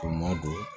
Kɔn ma don